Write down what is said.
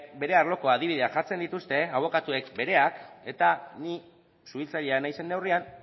bere arloko adibideak jartzen dituzte abokatuek bereak eta ni suhiltzailea naizen neurrian